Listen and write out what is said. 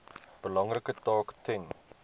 belangrike taak ten